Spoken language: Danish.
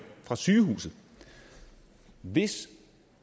fra sygehuset hvis